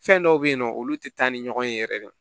Fɛn dɔw bɛ yen nɔ olu tɛ taa ni ɲɔgɔn ye yɛrɛ de